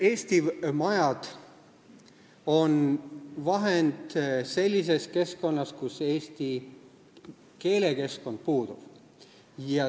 Eesti majad on hea vahend sellises kohas, kus eesti keelekeskkond puudub.